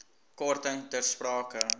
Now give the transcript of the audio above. korting ter sprake